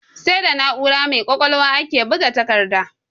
Sai da na'ura mai ƙwaƙwalwa ake buga takarda.